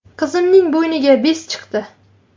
Qizimning bo‘yniga bez chiqdi.